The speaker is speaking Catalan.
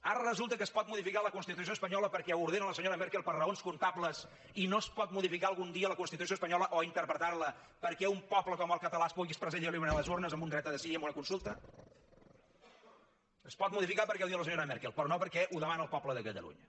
ara resulta que es pot modificar la constitució espanyola perquè ho ordena la senyora merkel per raons comptables i no es pot modificar algun dia la constitució espanyola o interpretar la perquè un poble com el català es pugui expressar lliurement a les urnes amb un dret a decidir i amb una consulta es pot modificar perquè ho diu la senyora merkel però no perquè ho demana el poble de catalunya